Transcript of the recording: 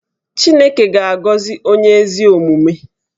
Chineke ga-agọzi onye ezi omume